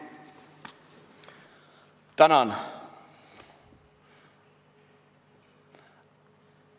Tänan!